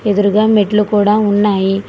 ఎదురుగా మెట్లు కూడా ఉన్నాయి.